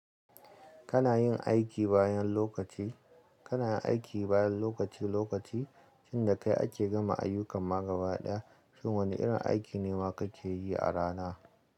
Kana yin aiki bayan lokaci, kana yin aiki bayan lokaci lokaci, inda kai ake gama ayyukan ma gaba ɗaya, shin wane irin aiki ne ma kake yi a rana?